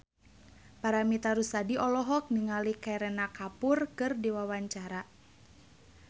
Paramitha Rusady olohok ningali Kareena Kapoor keur diwawancara